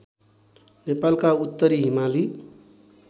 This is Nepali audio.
नेपालका उत्तरी हिमाली